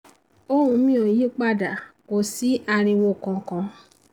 ohùn mi ò yí pa dà kò sí ariwo kankan